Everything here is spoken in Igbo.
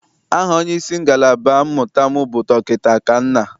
Aha onyeisi ngalaba mmụta m bụ Dọkịta Akanna.